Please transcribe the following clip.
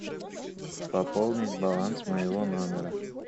пополнить баланс моего номера